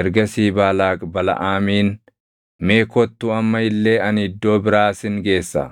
Ergasii Baalaaq Balaʼaamiin, “Mee kottu amma illee ani iddoo biraa sin geessaa.